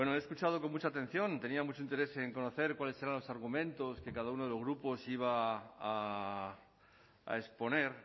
he escuchado con mucha atención tenía mucho interés en conocer cuáles eran los argumentos que cada uno de los grupos iba a exponer